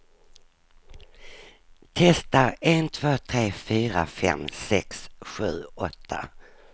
Testar en två tre fyra fem sex sju åtta.